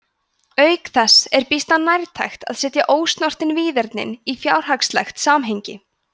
auk þess er býsna nærtækt að setja ósnortin víðernin í fjárhagslegt samhengi